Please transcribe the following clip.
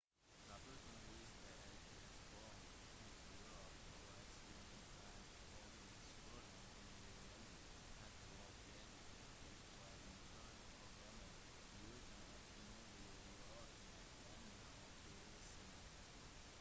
rapporten viste at testpoeng hadde økt overraskende raskt og at skolen angivelig hadde oppdaget at det var interne problemer uten at noe ble gjort med denne oppdagelsen